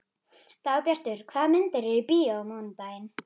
Dagbjartur, hvaða myndir eru í bíó á mánudaginn?